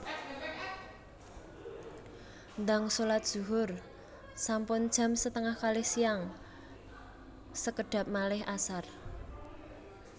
Ndang solat zuhur sampun jam setengah kalih siang sekedhap malih asar